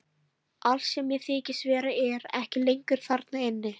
Allt sem ég þykist vera er ekki lengur þarna inni.